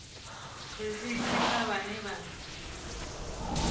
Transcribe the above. risithi kha vhane vha nga